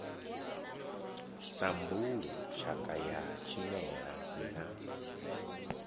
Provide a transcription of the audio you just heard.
sambulu tshakha ya tshimela na